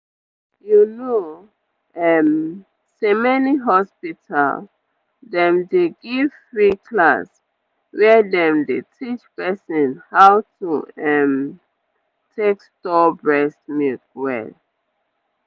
you know um say many hospital dem dey give free class where dem dey teach person how to um take store breast milk well.